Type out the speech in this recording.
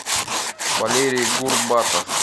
валерий гурбатов